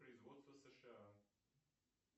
производство сша